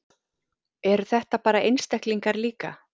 Eru þetta bara einstaklingar líka?